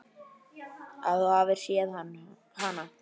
Að þú hafir séð hana?